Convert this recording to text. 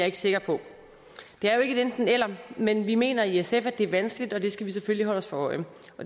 ikke sikker på det er jo ikke et enten eller men vi mener i sf at det er vanskeligt og det skal vi selvfølgelig holde os for øje